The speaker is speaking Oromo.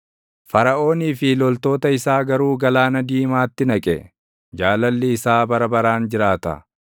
Faraʼoonii fi loltoota isaa garuu Galaana Diimaatti naqe; Jaalalli isaa bara baraan jiraata.